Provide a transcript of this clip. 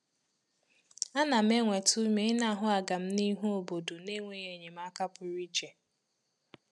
Ana m enweta ume ị ná ahụ aga-m n'ihu óbodo n’enweghị enyemaka pụrụ iche